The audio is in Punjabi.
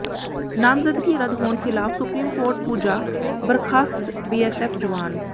ਨਾਮਜ਼ਦਗੀ ਰੱਦ ਹੋਣ ਖ਼ਿਲਾਫ਼ ਸੁਪਰੀਮ ਕੋਰਟ ਪੁੱਜਾ ਬਰਖ਼ਾਸਤ ਬੀਐਸਐਫ਼ ਜਵਾਨ